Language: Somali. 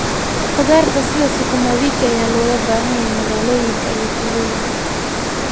Khudaarta sida sukuma wiki ayaa looga baahan yahay magaalooyinka iyo tuulooyinka.